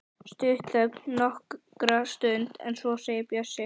Stutt þögn nokkra stund en svo segir Bjössi: